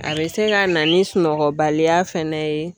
A bɛ se ka na ni sunɔgɔbaliya fana ye